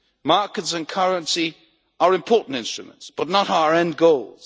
Markets and currency are important instruments, but not our end goals.